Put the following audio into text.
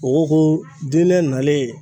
Mogow ko diinɛ nalen